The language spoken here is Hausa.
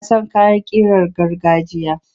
Ina son kayan ƙirar gargajiya.